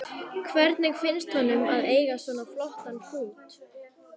Hvernig finnst honum að eiga svona flottan hrút?